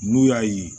N'u y'a ye